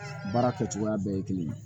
Baara kɛcogoya bɛɛ ye kelen ye